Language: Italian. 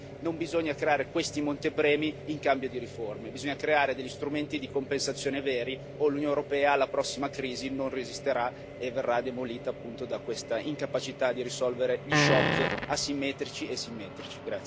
Quindi non bisogna creare questi montepremi in cambio di riforme, bisogna creare degli strumenti di compensazione veri o l'Unione europea alla prossima crisi non resisterà e verrà demolita, appunto, da questa incapacità di risolvere gli shock asimmetrici e simmetrici.